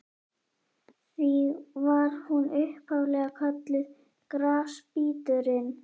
Því var hún upphaf-lega kölluð Grasbíturinn.